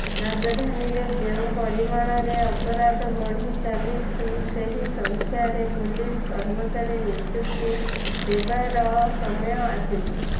ରାଜଧାନୀରେ ଯେଉଁ ପରିମାଣରରେ ଅପରାଧ ବଢ଼ି ଚାଲିଛି ସେହି ସଂଖ୍ୟାରେ ପୁଲିସ କର୍ମଚାରୀ ନିଯୁକ୍ତି ଦେବାର ସମୟ ଆସିଛି